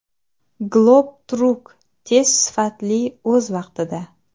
Globe Truck — tez, sifatli, o‘z vaqtida!.